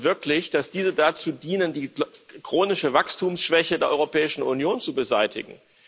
Glauben Sie denn wirklich, dass diese dazu dienen, die chronische Wachstumsschwäche der Europäischen Union zu beseitigen?